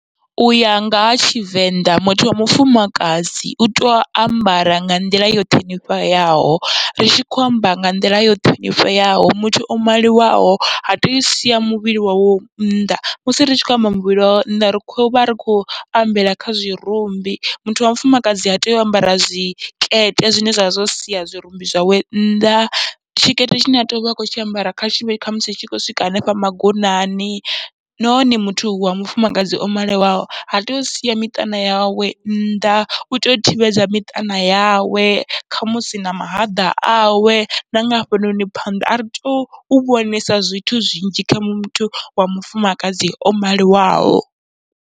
Uya nga ha tshivenḓa, muthu wa mufumakadzi uto ambara nga nḓila yo ṱhonifheaho ri tshi khou amba nga nḓila yo ṱhonifheaho muthu o maliwaho ha tei usia muvhili wawe nnḓa, musi ri tshi khou amba muvhili wawe ri khou uvha ri khou ambela kha zwirumbi, muthu wa mufumakadzi ha tei u ambara zwikete zwine zwavha zwa sia zwirumbi zwawe nnḓa, tshikete tshine atea uvha a kho tshi ambara kha tshivhe khamusi tsho swika hanefha magonani. Nahone muthu wa mufumakadzi o maliwaho ha tei usia miṱana yawe nnḓa, utea u thivhedza miṱana yawe kha musi na mahaḓa awe nanga hafhanoni phanḓa, ari tou vhonesa zwithu zwinzhi kha muthu wa mufumakadzi o maliwaho.